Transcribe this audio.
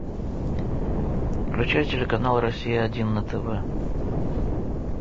включай телеканал россия один на тв